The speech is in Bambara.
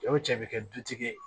Cɛw cɛ bɛ kɛ dutigi ye